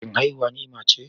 Shin haihuwa ni'ima ce?